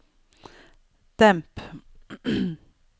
demp